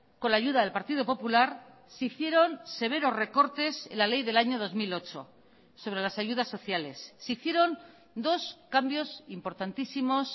con la ayuda del partido popular se hicieron severos recortes en la ley del año dos mil ocho sobre las ayudas sociales se hicieron dos cambios importantísimos